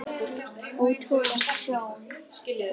Ótrúleg sjón.